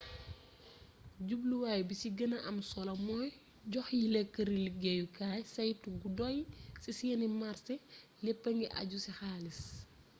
jubluwaay bi ci gëna am solo mooy jox yile këri liggéeyukaay saytu gu doy ci seeni marsé léppa ngi àju ci xaalis